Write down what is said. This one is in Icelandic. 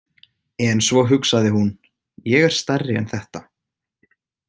En svo hugsaði hún: Ég er stærri en þetta.